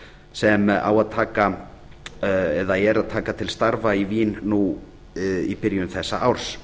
sem á að er að taka til starfa í vín nú í byrjun þessa árs